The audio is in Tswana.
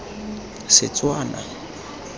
setswana